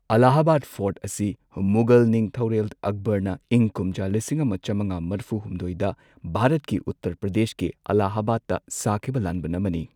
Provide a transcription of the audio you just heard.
Allahabad fort ꯑꯁꯤ ꯃꯨꯒꯜ ꯅꯤꯡꯊꯧꯔꯦꯜ ꯑꯛꯕꯔꯅ ꯏꯪ ꯀꯨꯝꯖꯥ ꯂꯤꯁꯤꯡ ꯑꯃ ꯆꯝꯉꯥ ꯃꯔꯐꯨ ꯍꯨꯝꯗꯣꯏꯗ ꯚꯥꯔꯠꯀꯤ ꯎꯠꯇꯔ ꯄ꯭ꯔꯗꯦꯁꯀꯤ ꯑꯂꯥꯍꯕꯥꯗꯇ ꯁꯥꯈꯤꯕ ꯂꯥꯟꯕꯟ ꯑꯃꯅꯤ꯫